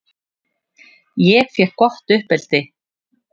Ég fékk gott uppeldi.